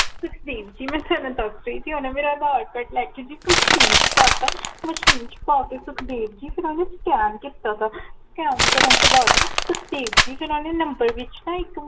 ਸੁਖਦੇਵ ਜੀ ਮੈ ਤੁਹਾਨੂੰ ਦਸਦੇਣੀ ਹਾਂ ਜੀ ਓਨੇ ਮੇਰਾ ਆਧਾਰ ਕਾਰਡ ਲੈ ਕੇ ਜੀ MACHINE ਚ ਪਾ ਤਾ MACHINE ਚ ਪਾ ਕੇ ਸੁਖਦੇਵ ਜੀ ਫੇਰ ਓਨੇ SCAN ਕੀਤਾ ਹੈਗਾ SCAN ਕਰਨ ਤੋ ਬਾਦ ਸੁਖਦੇਵ ਜੀ ਫੇਰ ਓਨੇ Number ਵਿੱਚ ਨਾ ਇਕ